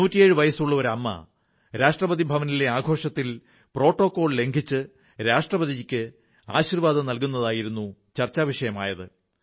നൂറ്റിയേഴു വയസ്സുള്ള ഒരു അമ്മ രാഷ്ട്രപതി ഭവനിലെ ആഘോഷത്തിൽ പ്രോട്ടോക്കോൾ ലംഘിച്ച് രാഷ്ട്രപതിജിക്ക് ആശീർവ്വാദം നല്കുന്നതായിരുന്നു ചർച്ചാവിഷയമായത്